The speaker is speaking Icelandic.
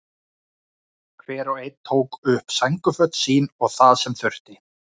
Hendurnar rauðbleikar á hliðinu.